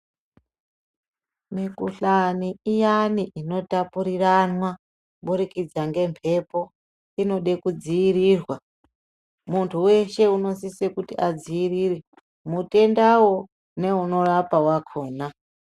Mikhuhlani iyani inotapuriranwa kuburikidza ngemhepo inode kudziirirwa, muntu weshe unosise kuti adziirire mutendawo neunorapa wakona.